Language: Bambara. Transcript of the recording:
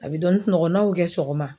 A be dɔɔni sunɔgɔ. N'a y'o kɛ sɔgɔma.